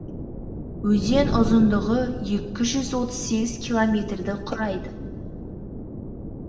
өзен ұзындығы екі жүз отыз сегіз километрді құрайды